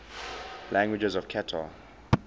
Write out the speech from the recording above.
languages of qatar